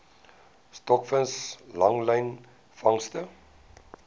stokvis langlyn vangste